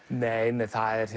nei nei